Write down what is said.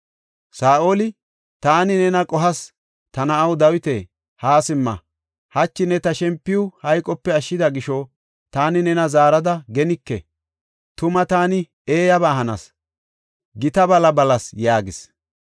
Saa7oli, “Taani nena qohas. Ta na7aw, Dawita, haa simma! Hachi ne ta shempiw hayqope ashshida gisho taani nena zaarada genike. Tuma taani eeyaba hanas; gita bala balas” yaagis.